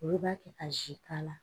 Olu b'a kɛ ka zi k'a la